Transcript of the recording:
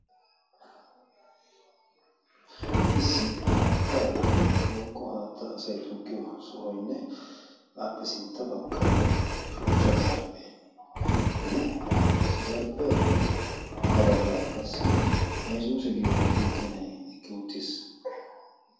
issi haattaa bombbaily woykko haatta asay tikkiyo sohoynne aappe sintta baggaara shuchchaa zarphpheenne zarphphiyaappe ha baggaara qassi haysuuse giyo makinay eqqi uuttiis